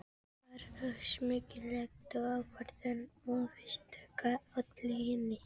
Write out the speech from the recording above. Það var sameiginleg ákvörðun og óvíst hvað olli henni.